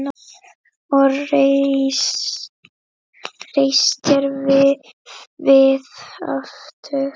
Og reistir við aftur.